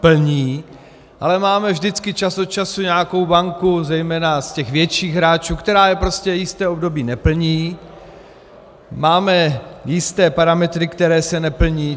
Ale máme vždycky čas od času nějakou banku, zejména z těch větších hráčů, která je prostě jisté období neplní, máme jisté parametry, které se neplní.